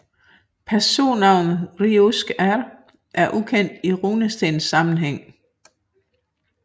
Personnavnet riuskR er ukendt i runestenssammenhæng